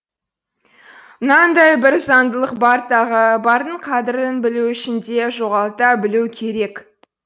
мынандай бір заңдылық бар тағы бардың қадірін білу үшін де жоғалта білу керек